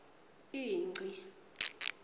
ingci